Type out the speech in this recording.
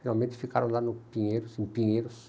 Finalmente ficaram lá no Pinheiros, em Pinheiros.